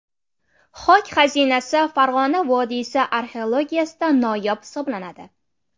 Xok xazinasi Farg‘ona vodiysi arxeologiyasida noyob hisoblanadi.